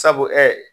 Sabu